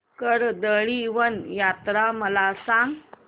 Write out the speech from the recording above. कर्दळीवन यात्रा मला सांग